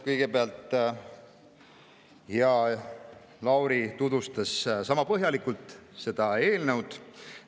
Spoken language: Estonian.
Kõigepealt tutvustas hea Lauri seda eelnõu sama põhjalikult.